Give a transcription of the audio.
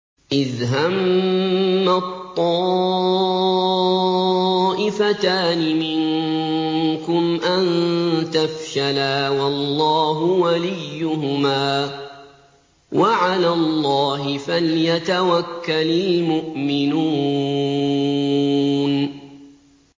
إِذْ هَمَّت طَّائِفَتَانِ مِنكُمْ أَن تَفْشَلَا وَاللَّهُ وَلِيُّهُمَا ۗ وَعَلَى اللَّهِ فَلْيَتَوَكَّلِ الْمُؤْمِنُونَ